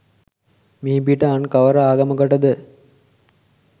මිහිපිට අන් කවර අගමකටද?